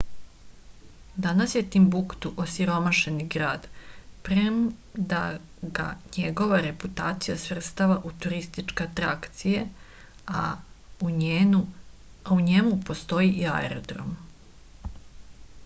danas je timbuktu osiromašeni grad premda ga njegova reputacija svrstava u turističke atrakcije a u njenu postoji i aerodrom